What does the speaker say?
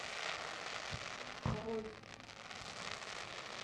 руль